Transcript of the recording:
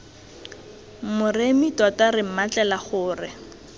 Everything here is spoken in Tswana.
moremi tota re mmatlela gore